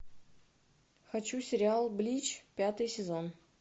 хочу сериал блич пятый сезон